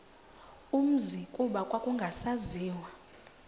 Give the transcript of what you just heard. umzi kuba kwakungasaziwa